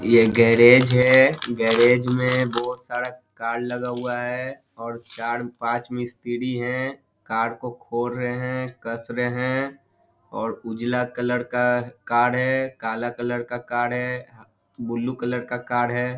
ये गैरेज है गैरेज में बहुत सारा कार लगा हुआ हैं और चार-पांच मिस्त्री हैं कार को खोल रहे है कस रहे है और उजला कलर का कार है काला कलर का कार है ब्लू कलर का है ।